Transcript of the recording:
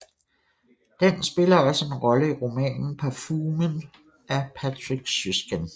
Den spiller også en rolle i romanen Parfumen af Patrick Süskind